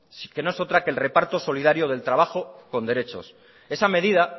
que no es otra que el reparto solidario del trabajo con derechos esa medida